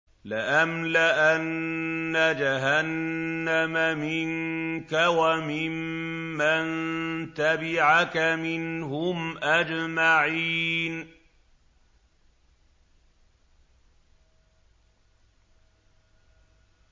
لَأَمْلَأَنَّ جَهَنَّمَ مِنكَ وَمِمَّن تَبِعَكَ مِنْهُمْ أَجْمَعِينَ